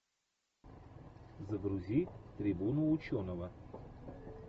загрузи трибуну ученого